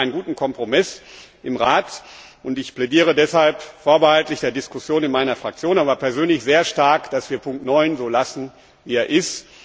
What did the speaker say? Jetzt gibt es einen guten Kompromiss im Rat, und ich plädiere deshalb vorbehaltlich der Diskussion in meiner Fraktion persönlich sehr stark dafür, dass wir Ziffer 9 so lassen, wie sie ist.